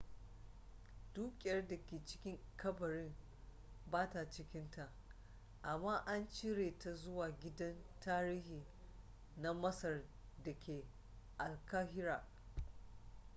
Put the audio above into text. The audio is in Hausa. dukiyar da ke cikin kabarin ba ta cikin ta amma an cire ta zuwa gidan tarihi na masar da ke alkahira